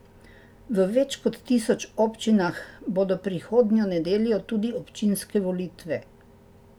V več kot tisoč občinah bodo prihodnjo nedeljo tudi občinske volitve.